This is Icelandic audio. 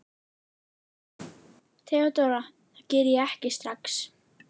THEODÓRA: Það geri ég ekki strax.